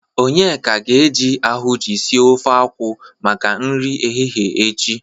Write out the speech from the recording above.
Onyeka ga-eje ahụnjị sie ofe akwụ maka nri ehihe echi.